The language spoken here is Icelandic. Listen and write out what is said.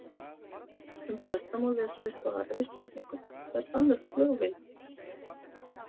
Um þetta má lesa í svari við spurningunni Hver fann upp flugvélina?